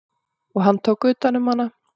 Og hann tók utan um hana.